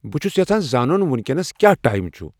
بہٕ چُھس یژھان زانُن وینکینس کیا ٹایم چُھ ؟